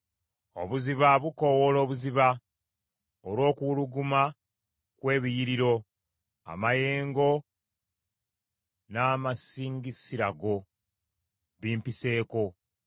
Obuziba bukoowoola obuziba, olw’okuwuluguma kw’ebiyiriro amayengo n’amasingisira go bimpiseeko.